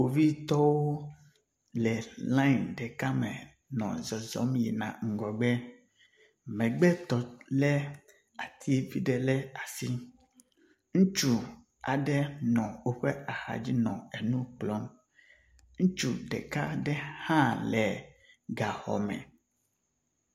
Kpovitɔwo le laeŋ ɖeka me nɔ zɔzɔm yina ngɔgbe , megbetɔ le ati viɖe le asi ŋutsu aɖe nɔ wóƒe axadzi nɔ enukplɔm, nutsu ɖeka aɖe hã le gaxɔme